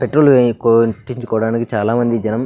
petrol చేయించుకోవడానికి చాలా మంది జనం --